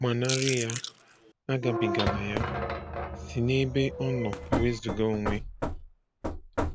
Gbanarị ya, agabigala ya; si n'ebe ọ nọ wezuga onwe,